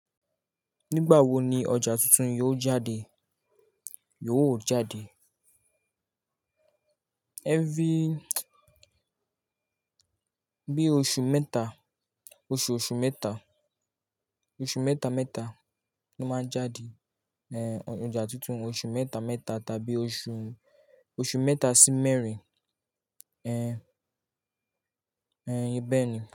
Nígbà wo ni ọjà tuntun yóò jáde? Yiò jáde. Every-- bí oṣù mẹ́ta, oṣooṣù mẹ́ta, oṣù mẹ́ta mẹ́ta ló máa jáde, eh, ọjà tuntun. Oṣù mẹ́ta mẹ́ta tàbí oṣù, oṣù mẹ́ta sí mẹ́rin, eh, bẹ́ẹ̀ ni.